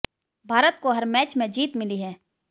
भारत को हर मैच में जीत मिली है